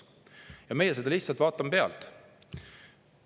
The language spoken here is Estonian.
Aga meie vaatame seda kõike lihtsalt pealt.